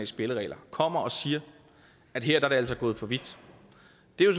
spilleregler kommer og siger at her er det altså gået for vidt